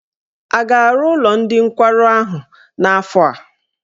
A ga-arụ ụlọ ndị nkwarụ ahụ n'afọ a?